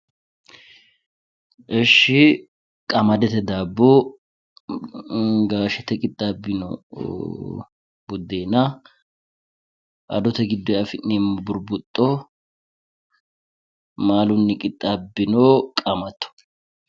Ishshi qamadete daabbo gaashete qixxaabbino buddeena adote giddoyi afi'neemmo burbuxxo maalunni qixxaabbino qaamatto.